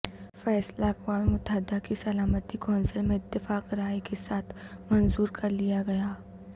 فیصلہ اقوام متحدہ کی سلامتی کونسل میں اتفاق رائے کے ساتھ منظور کر لیا گیا